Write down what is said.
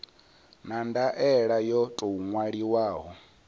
na ndaela yo tou ṅwaliwaho